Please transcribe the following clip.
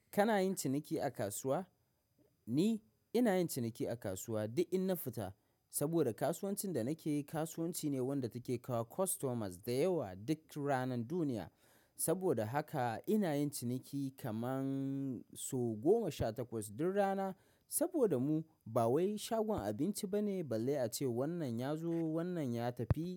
Kana yin ciniki a kasuwa? Ni ina yin ciniki a kasuwa duk in na fita, saboda kasuwancin da nake kasuwanci ne wanda take kawo customers da yawa duk ranan duniya. Saboda haka ina yin ciniki kaman so goma sha takwas duk rana. Saboda mu ba wai shagon abinci bane balle ace wannan ya zo wannan ya tafi.